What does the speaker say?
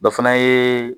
Dɔ fana ye